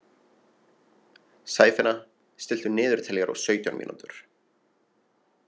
Sæfinna, stilltu niðurteljara á sautján mínútur.